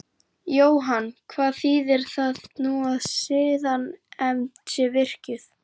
Og Jóhann hvað þýðir það nú að siðanefnd sé virkjuð?